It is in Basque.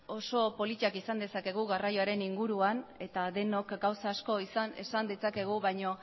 oso politak esan dezakegu garraioaren inguruan eta denok gauza asko esan ditzakegu baina